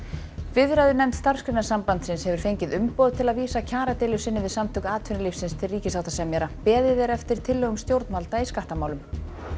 viðræðunefnd Starfsgreinasambandsins hefur fengið umboð til að vísa kjaradeilu sinni við Samtök atvinnulífsins til ríkissáttasemjara beðið er eftir tillögum stjórnvalda í skattamálum